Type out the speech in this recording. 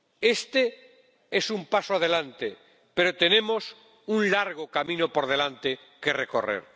Este es un paso adelante, pero tenemos un largo camino por delante que recorrer.